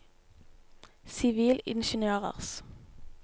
sivilingeniørers